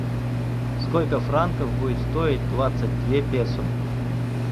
сколько франков будет стоить двадцать две песо